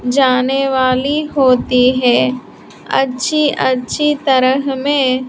जाने वाली होती है अच्छी अच्छी तरह में--